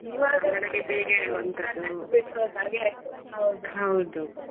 ಬಿಟ್ಟು ಹೋದಾಗೆ ಆಯ್ತು ಹೌದು .